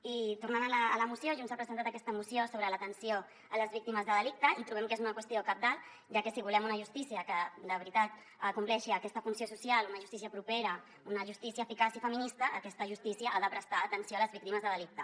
i tornant a la moció junts ha presentat aquesta moció sobre l’atenció a les víctimes de delicte i trobem que és una qüestió cabdal ja que si volem una justícia que de veritat compleixi aquesta funció social una justícia propera una justícia eficaç i feminista aquesta justícia ha de prestar atenció a les víctimes de delicte